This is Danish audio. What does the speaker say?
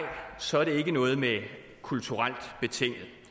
så er der ikke noget med kulturelt betinget